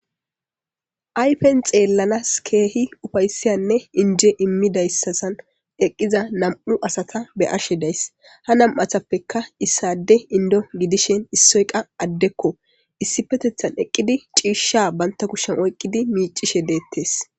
Ayife xeelanaw kehi uufaysine inje imidasazhan eqiza na''mu asata be'ashe de'ays. Ha na'matapeka issa ade inddo gidishin issoy qa addeko. Issipethethan eqidi c'iishsha banta kushiyan oykidi miic'ishe deetes.